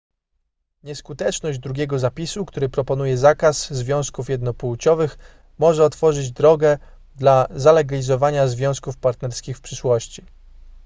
nieskuteczność drugiego zapisu który proponuje zakaz związków jednopłciowych może otworzyć drogę dla zalegalizowania związków partnerskich w przyszłości